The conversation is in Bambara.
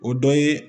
O dɔ ye